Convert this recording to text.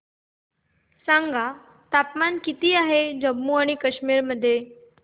सांगा तापमान किती आहे जम्मू आणि कश्मीर मध्ये